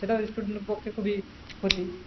সেটা student এর পক্ষে খুবি ক্ষতি